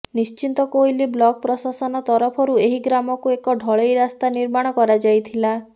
Nischintakoili block ପ୍ରଶାସନ ତରଫରୁ ଏହି ଗ୍ରାମକୁ ଏକ ଢଳେଇ ରାସ୍ତା ନିର୍ମାଣ କରାଯାଇଥିଲା